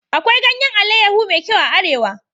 Akwai ganyan alayyahu me kyau a arewa